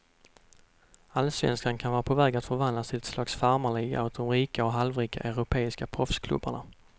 Allsvenskan kan vara på väg att förvandlas till ett slags farmarliga åt de rika och halvrika europeiska proffsklubbarna.